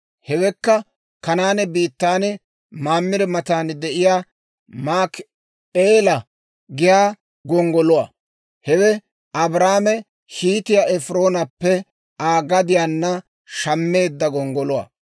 Hewekka Kanaane biittaan, Mamire matan de'iyaa, Maakip'eela giyaa gonggoluwaa; hewe Abrahaame Hiitiyaa Efiroonappe Aa gadiyaanna shammeedda gonggoluwaa.